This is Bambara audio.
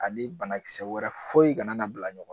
banakisɛ wɛrɛ foyi kana na bila ɲɔgɔn